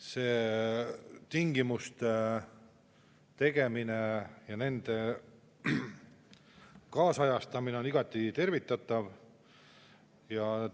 See tingimuste ja nende kaasajastamine on igati tervitatav.